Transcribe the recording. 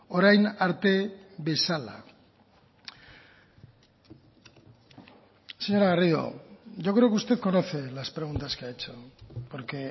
orain arte bezala señora garrido yo creo que usted conoce las preguntas que ha hecho porque